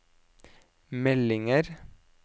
meldinger